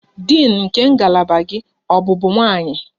Din nke ngalaba gị ọ bụbu nwanyị?